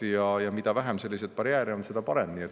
Ja mida vähem selliseid barjääre on, seda parem.